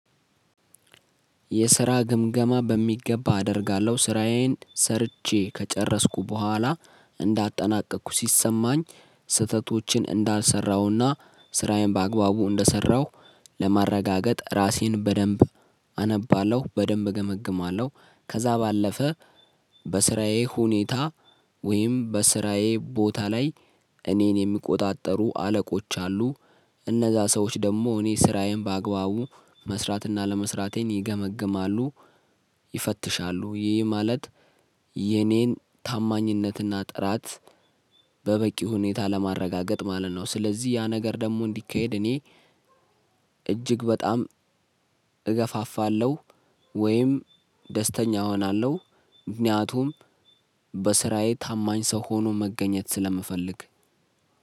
የስራ ግምገማ በሚገባ አደርጋለሁ ስራዬን ሰርቼ ከጨረስኩ በኋላ እንዳጠናቀኩ ሲሰማኝ ስህተቶችን እንዳልሰራሁና ስራዬን በአግባቡ እንደሰራሁ ለማረጋገጥ ራሴን በደንብ አነባለሁ በደንብ እገመግማለሁ። ከዛ ባለፈ በስራዬ ሁኔታ ወይም በስራዬ ቦታ ላይ እኔን የሚቆጣጠሩ አለቆች አሉ። እነዛ ሰዎች ደግሞ እኔ ስራዬን በአግባቡ መስራትና አለመስራቴን ይገመግማሉ ይፈትሻሉ። ይህ ማለት የኔን ታማኝነትና ጥራት በበቂ ሁኔታ ለማረጋገጥ ማለት ነው። ስለዚህ ያ ነገር ደግሞ እንዲካሄድ እኔ እጅግ በጣም እገፋፋለሁ። ወይም ደስተኛ እሆናለሁ። ምክንያቱም በስራዬ ታማኝ ሰው ሆኖ መገኘት ስለምፈልግ